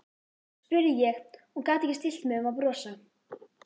spurði ég og gat ekki stillt mig um að brosa.